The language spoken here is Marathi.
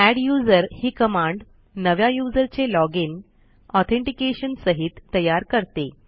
एड्युजर ही कमांड नव्या यूझर चे लॉजिन ऑथेंटिकेशन सहित तयार करते